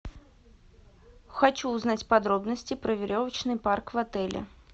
хочу узнать подробности про веревочный парк в отеле